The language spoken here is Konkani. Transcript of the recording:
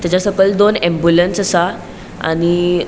तचा सकयल दोन एम्बुलेन्स आसा आणि --